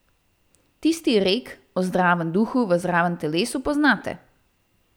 Tisti rek o zdravem duhu v zdravem telesu poznate.